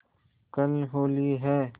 कल होली है